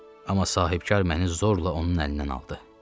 Amma sahibkar məni zorla onun əlindən aldı.